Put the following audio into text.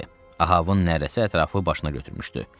Ahavın nərəsi ətrafı başına götürmüşdü.